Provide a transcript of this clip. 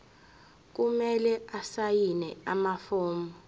kumele asayine amafomu